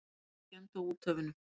Engin skemmd á úthöfunum.